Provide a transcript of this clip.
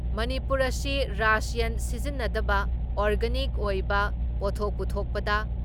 ꯃꯅꯤꯄꯨꯔ ꯑꯁꯤ ꯔꯥꯁꯌꯟ ꯁꯤꯖꯤꯟꯅꯗꯕ ꯑꯣꯔꯒꯥꯅꯤꯛ ꯑꯣꯏꯕ ꯄꯣꯊꯣꯛ ꯄꯨꯊꯣꯛꯄꯗ